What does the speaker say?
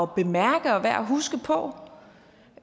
bemærke og værd at huske på